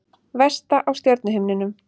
Vesta á stjörnuhimninum